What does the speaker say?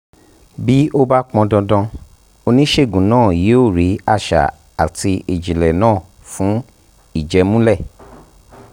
bí ó bá pọn dandan oníṣègùn náà yóò rí àṣà àti ìjìnlẹ̀ náà fún ìjẹ́múlẹ̀